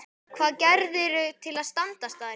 Hvað gerðirðu til að standast þær?